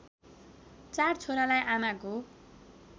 चार छोरालाई आमाको